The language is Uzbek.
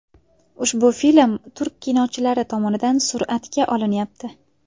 Ushbu film turk kinochilari tomonidan suratga olinyapti.